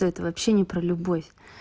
то это вообще не про любовь